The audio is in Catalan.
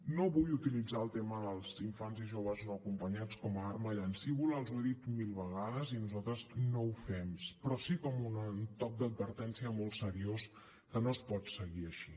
no vull utilitzar el tema dels infants i joves no acompanyats com a arma llancívola els ho he dit mil vegades i nosaltres no ho fem però sí com un toc d’advertència molt seriós que no es pot seguir així